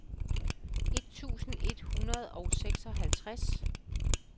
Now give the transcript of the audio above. et tusind et hundrede og seksoghalvtreds